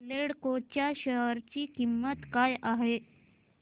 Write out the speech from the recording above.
एल्डेको च्या शेअर ची किंमत काय आहे